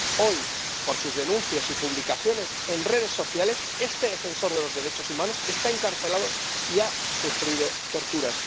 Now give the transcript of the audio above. Hoy, por sus denuncias y publicaciones en redes sociales, este defensor de los derechos humanos está encarcelado y ha sufrido torturas.